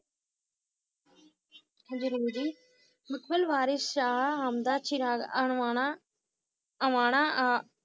ਜਰੂਰ ਜੀ ਚਿਰਾਗ ਅਣਵਾਣਾ ਅਵਾਣਾ ਆ~